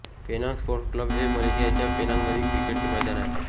Penang sports club हे मलेशियाच्या पेनांगमधील क्रिकेटचे मैदान आहे